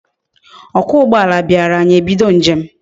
Okwa ugboala biara anyi ebido njem